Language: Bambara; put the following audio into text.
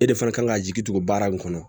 E de fana kan ka jigi tugu baara nin kɔnɔ